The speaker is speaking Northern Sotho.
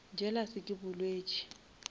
jealous ke bolwetši